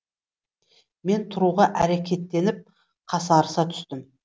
мен тұруға әрекеттеніп қасарыса түстім